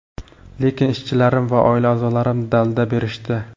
Lekin ishchilarim va oila a’zolarim dalda berishdi.